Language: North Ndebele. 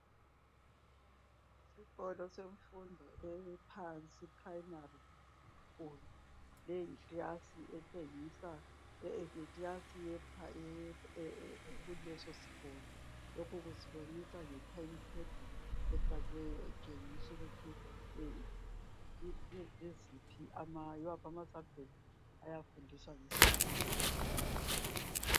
Isikolo semfundo ephansi I primary school leyi yikilasi etshengisa ukuthi yikilasi ekuleso sikolo lokho kusibonisa nge time table efakiweyo etshengisa ukuba yiwaphi ama subject ayabe engakuleso sikhathi